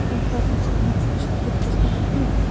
En hvernig skyldi standa á því?